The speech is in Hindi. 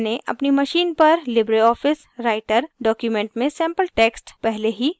मैंने अपनी machine पर libreoffice writer document में sample text पहले ही सेव कर लिया है